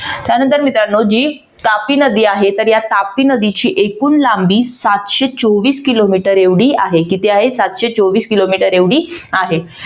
त्यानंतर मित्रांनो जी तापी नदी आहे तर या तापी नदीची एकूण लांबी सातशे चोवीस किलोमीटर एवढी आहे. किती आहे? सातशे चोवीस किलोमीटर एवढी आहे.